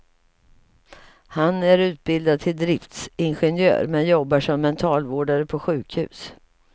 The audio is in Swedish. Han är utbildad till driftsingenjör men jobbar som mentalvårdare på sjukhus.